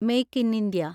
make in India